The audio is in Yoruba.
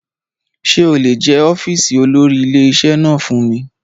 Ṣé o lè jẹ́ ọ́fíìsì olórí ilé-iṣẹ́ náà fún mi.